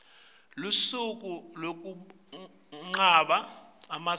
lusuku lwekugabha emasiko